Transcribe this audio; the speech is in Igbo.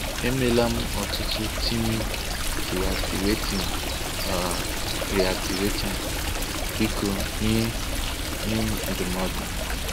E meela m ọtụtụ tiim, de-activating / re-activating. Biko nye nye m ndụmọdụ.